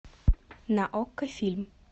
на окко фильм